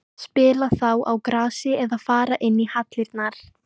Spila þá á grasi eða fara inn í hallirnar?